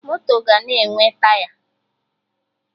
Moto ga na-enwe Taya